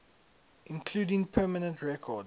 including permanent record